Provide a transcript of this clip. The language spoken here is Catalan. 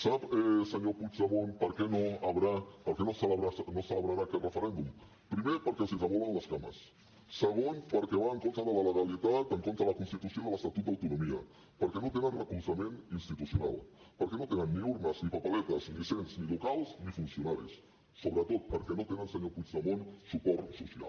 sap senyor puigdemont per què no hi haurà per què no es celebrarà aquest referèndum primer perquè els hi tremolen les cames segon perquè va en contra de la legalitat en contra de la constitució i de l’estatut d’autonomia perquè no tenen recolzament institucional perquè no tenen ni urnes ni paperetes ni cens ni locals ni funcionaris i sobretot perquè no tenen senyor puigdemont suport social